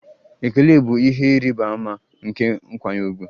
Ekele bụ ihe ịrịba ama nke nkwanye ùgwù.